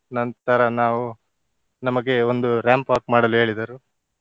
ನಂತರ ನಾವು ನಮಗೆ ಒಂದು ramp walk ಮಾಡಲು ಹೇಳಿದರು.